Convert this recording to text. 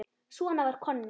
Svona var Konni.